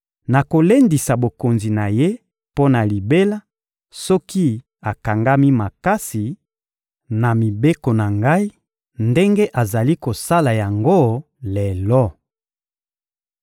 Nakolendisa bokonzi na ye mpo na libela soki akangami makasi na mibeko na Ngai ndenge azali kosala yango lelo.»